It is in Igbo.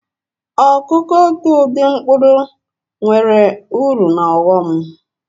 Ọkụ́kụ́ otu ụdị mkpụrụ enweere uru na ọghọm.